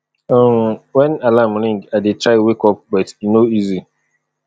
um wen alarm ring i dey try wake up but e no easy